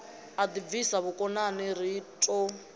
a ḓibvisa vhukomani ri ḓo